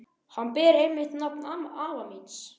Hann ber einmitt nafn afa míns.